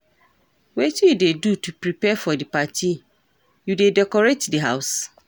wetin you dey do to prepare for di party, you dey decorate di house?